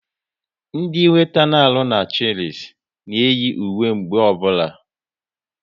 Ndị weeta na arụ ọrụ n'Chilis na eyi uwe mgbe ọbụla